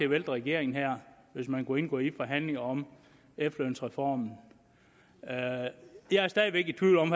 vælte regeringen her hvis man kunne indgå i forhandlinger om efterlønsreformen jeg er stadig væk i tvivl om